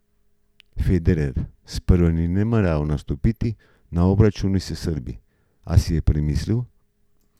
Federer sprva ni nameraval nastopiti na obračunu s Srbi, a si je premislil.